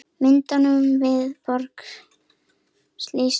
Myndum við borga slík laun?